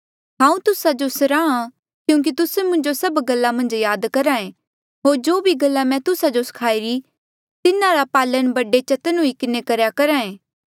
हांऊँ तुस्सा जो सराहां क्यूंकि तुस्से मुंजो सभ गल्ला मन्झ याद करहा ऐें होर जो भी गल्ला मैं तुस्सा जो सखाई री तिन्हारा पालण बड़े चतन्न हुई किन्हें करेया करहा ऐें